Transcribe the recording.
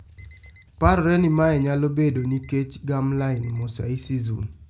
Parore ni mae nyalo bedo nikech germline mosaicism